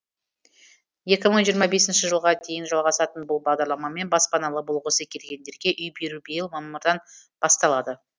екі мың жиырма бесінші жылға дейін жалғасатын бұл бағдарламамен баспаналы болғысы келгендерге үй беру биыл мамырдан басталады